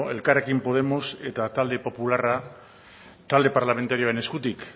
elkarrekin podemos eta talde popularra talde parlamentarioen eskutik